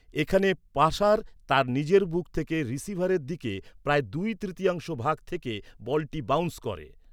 এখানে, পাসার তার নিজের বুক থেকে রিসিভারের দিকে প্রায় দুই তৃতীয়াংশ ভাগ থেকে বলটি বাউন্স করে।